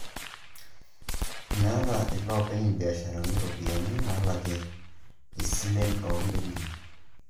Meeta iloopeny' imbiashaarani iropiyiani naalakie isilen oo mbenkii